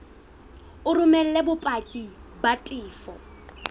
o romele bopaki ba tefo